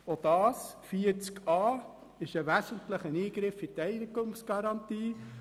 Auch das ist ein wesentlicher Eingriff in die Eigentumsgarantie.